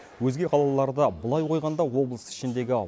өзге қалаларды былай қойғанда облыс ішіндегі